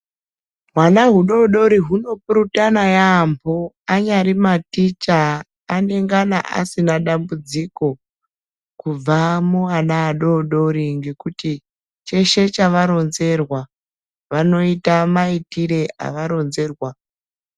Hwana hudoodori hunopurutana yampho. Anyari maticha anengana asina dambudziko kubva muana adoodori ngekuti cheshe chavaronzerwa vanoita maitire avaronzerwa.